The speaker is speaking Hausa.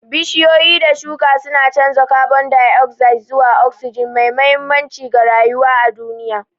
Bishiyoyi da shuka suna canza kabon dai'ozaid zuwa osijin, mai mahimmanci ga rayuwa a duniya.